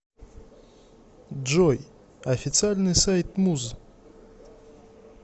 джой официальный сайт муз